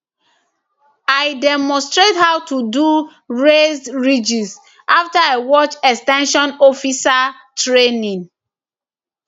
i demonstrate how to do raised ridges after i watch ex ten sion officer training